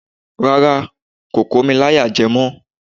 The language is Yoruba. Rárá, kò kò mi láyàjẹ mọ́